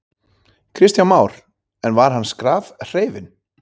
Kristján Már: En var hann skrafhreifinn?